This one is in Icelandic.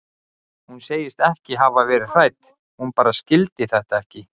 Hún segist ekki hafa verið hrædd, hún bara skildi þetta ekki.